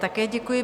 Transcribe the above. Také děkuji.